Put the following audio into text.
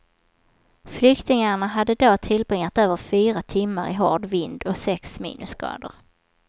Flyktingarna hade då tillbringat över fyra timmar i hård vind och sex minusgrader.